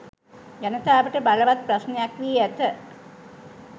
ජනතාවට බලවත් ප්‍රශ්නයක් වී ඇත.